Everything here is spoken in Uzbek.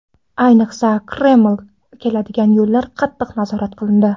Ayniqsa Kremlga keladigan yo‘llar qattiq nazorat qilindi.